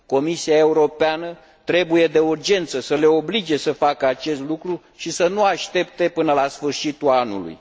Comisia Europeană trebuie, de urgență, să le oblige să facă acest lucru și să nu aștepte până la sfârșitul anului.